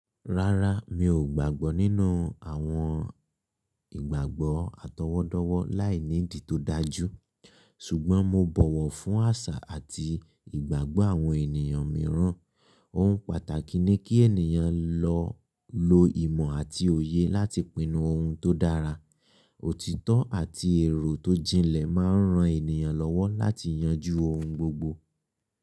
Rárá, mi ò gbàgbọ́ nínú àwọn ìgbàgbọ́ atọwọ́dọ́wọ́ láìní ìdí tó dájú, ṣùgbọ́n mo bọ̀wọ̀ fún àṣà àti ìgbàgbọ́ àwọn ènìyàn mìíràn. Ohun pàtàkì ni kí ènìyàn lọ lo ìmọ̀ àti òye láti pinnu ohun tó dára. Òtítọ́ àti èrò tó jinlẹ̀ máa ń ran ènìyàn lọ́wọ́ láti yanjú ohun gbogbo.